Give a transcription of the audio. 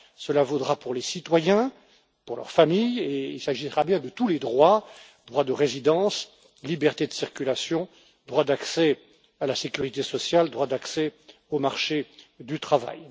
Cela vaudra pour les citoyens, pour leurs familles et il s'agira bien de tous les droits droit de résidence, liberté de circulation, droit d'accès à la sécurité sociale, droit d'accès au marché du travail.